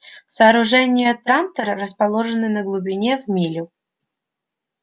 сооружения трантора расположены на глубине в милю